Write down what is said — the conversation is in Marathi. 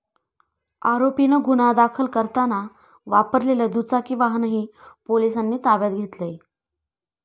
आरोपीनं गुन्हा करताना वापरलेलं दुचाकी वाहनही पोलिसांनी ताब्यात घेतलंय.